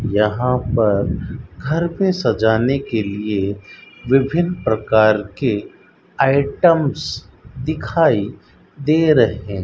यहां पर घर पे सजाने के लिए विभिन्न प्रकार के आइटम्स दिखाई दे रहे --